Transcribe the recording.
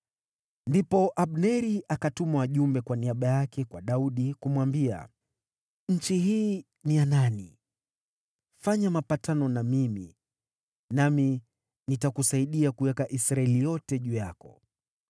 Ndipo Abneri akatuma wajumbe kwa niaba yake kwa Daudi, kumwambia, “Nchi hii ni ya nani? Fanya mapatano na mimi, nami nitakusaidia kuiweka Israeli yote juu yako.”